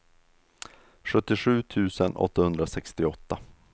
sjuttiosju tusen åttahundrasextioåtta